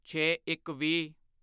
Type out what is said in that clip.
ਛੇਇੱਕਵੀਹ